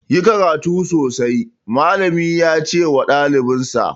Ku yi karatu sosai! Mallami ya ce ma ɗalibansa.